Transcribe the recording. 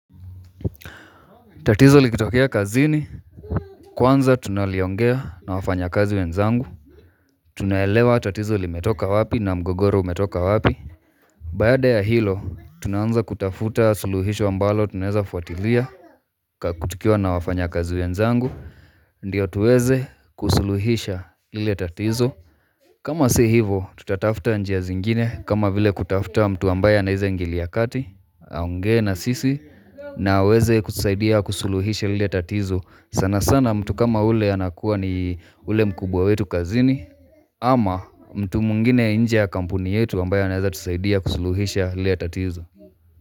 Tatizo likitokea kazini, kwanza tunaliongea na wafanya kazi wenzangu Tunaelewa tatizo limetoka wapi na mgogoro umetoka wapi Baada ya hilo, tunaanza kutafuta suluhisho ambalo tunaeza fuatilia tukiwa na wafanya kazi wenzangu, ndiyo tuweze kusuluhisha ile tatizo kama si hivo, tutatafta njia zingine kama vile kutafta mtu ambaye anaeza ingilia kati Aongee na sisi na aweze kusaidia kusuluhisha lile tatizo sana sana mtu kama ule anakuwa ni ule mkubwa wetu kazini ama mtu mwingine nje kampuni yetu ambaye anaeza tusaidia kusuluhisha lile tatizo.